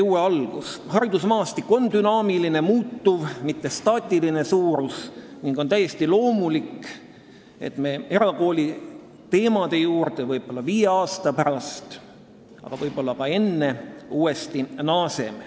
Haridusmaastik on dünaamiline, muutuv, mitte staatiline suurus ning on täiesti loomulik, et me erakooliteemade juurde naaseme, võib-olla viie aasta pärast, aga võib-olla ka enne.